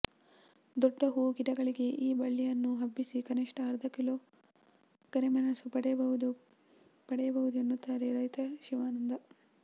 ದೊಡ್ಡ ಹೂ ಗಿಡಗಳಿಗೂ ಈ ಬಳ್ಳಿಯನ್ನು ಹಬ್ಬಿಸಿ ಕನಿಷ್ಠ ಅರ್ಧ ಕಿಲೋ ಕರಿಮೆಣಸು ಪಡೆಯಬಹುದು ಪಡೆಯಬಹುದು ಎನ್ನುತ್ತಾರೆ ರೈತ ಶಿವಾನಂದ